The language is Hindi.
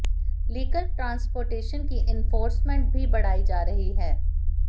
लिकर ट्रांसपोर्टेशन की एन्फोर्समेंट भी बढ़ाई जा रही है